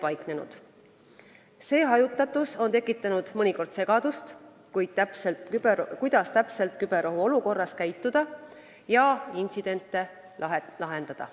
Selline hajutatus on tekitanud mõnikord segadust, kuidas täpselt küberohu olukorras käituda ja intsidente lahendada.